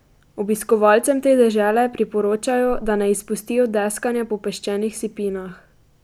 Obiskovalcem te dežele priporočajo, da ne izpustijo deskanja po peščenih sipinah.